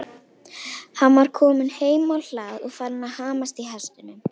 Hann var kominn heim á hlað og farinn að hamast í hestunum.